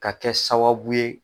Ka kɛ sababu ye